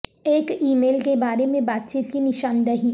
ایک email کے بارے میں بات چیت کی نشاندہی